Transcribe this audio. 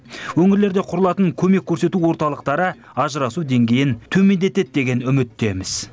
өңірлерде құрылатын көмек көрсету орталықтары ажырасу деңгейін төмендетеді деген үміттеміз